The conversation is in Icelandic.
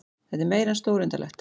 Þetta er meira en stórundarlegt